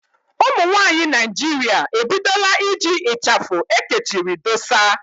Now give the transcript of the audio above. Ụmụnwaanyị Naịjirịa ebidola iji ịchafụ ekechiri dósa